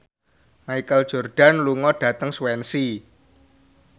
Michael Jordan lunga dhateng Swansea